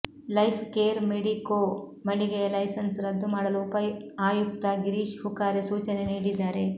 life Care Medico ಮಳಿಗೆಯ licence ರದ್ದು ಮಾಡಲು ಉಪ ಆಯುಕ್ತ ಗಿರೀಶ್ ಹುಕಾರೆ ಸೂಚನೆ ನೀಡಿದ್ದಾರೆ